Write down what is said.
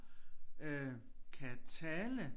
Øh kan tale